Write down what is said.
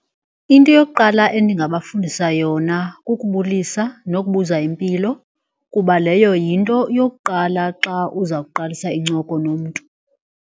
Into yokuqala endingabafundisa yona kukubulisa nokubuza impilo kuba leyo yinto yokuqala xa uza kuqalisa incoko nomntu.